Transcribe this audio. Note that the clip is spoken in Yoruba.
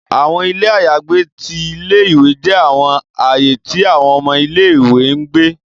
Awọn ile ayagbe ti ìlé-ìwé jẹ awọn aaye ti awọn ọmọ ìlé-ìwé n gbe